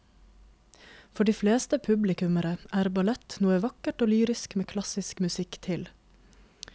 For de fleste publikummere er ballett noe vakkert og lyrisk med klassisk musikk til.